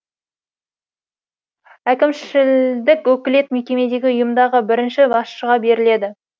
әкімшілдік өкілет мекемедегі ұйымдағы бірінші басшыға беріледі